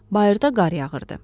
Bayırda qar yağırdı.